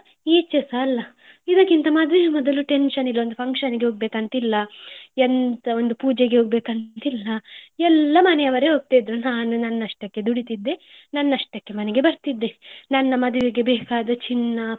ಈಚೆಸ ಅಲ್ಲ ಇದಕ್ಕಿಂತ ಮದ್ವೆಯ ಮೊದಲು tension ಇಲ್ಲ, function ಹೋಗ್ಬೇಕ್ ಅಂತ ಇಲ್ಲ, ಎಂಥ ಒಂದು ಪೂಜೆಗೆ ಹೋಗ್ಬೇಕ್ ಅಂತ ಇಲ್ಲ. ಎಲ್ಲ ಮನೆಯವರೇ ಹೋಗ್ತಾ ಇದ್ರು ನಾನು ನನ್ನ ಅಷ್ಟಕ್ಕೆ ದುಡಿತ್ತಿದ್ದೆ ನನ್ನ ಅಷ್ಟಕ್ಕೆ ಮನೆಗೆ ಬರ್ತಿದ್ದೆ. ನನ್ನ ಮದುವೆಗೆ ಬೇಕಾದ ಚಿನ್ನ